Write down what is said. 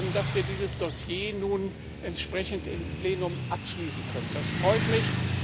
Dass wir dieses Dossier nun entsprechend im Plenum abschließen können, freut mich.